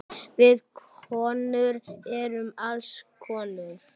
Við konur erum alls konar.